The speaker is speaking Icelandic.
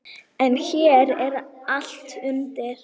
En hér er allt undir.